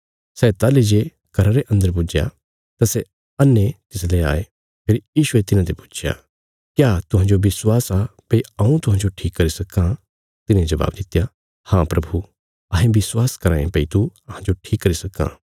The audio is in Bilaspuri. सै ताहली जे घरा रे अन्दर पुज्या तां सै अन्हे तिसले आये फेरी यीशुये तिन्हांते पुच्छया क्या तुहांजो विश्वास आ भई हऊँ तुहांजो ठीक करी सक्कां तिन्हें जबाब दित्या हाँ प्रभु अहें विश्वास कराँ ये भई तू अहांजो ठीक करी सक्कां